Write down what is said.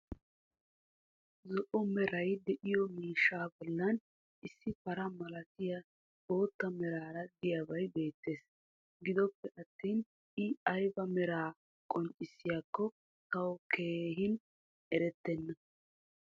zo'o meray diyo mishshaa bolan issi para malattiya boota meraara diyabay beetees. gidoppe attin i aybba meraa qonccissiyaakko tawu keehi eretenna.